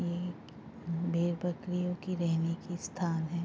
ये भेड़ बकरियों की रहने की स्थान है।